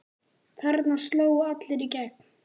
Þarna slógu allir í gegn.